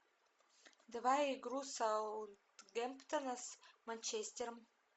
давай игру саутгемптона с манчестером